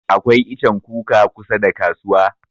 Akwai ichen kuka kusa da kasuwa.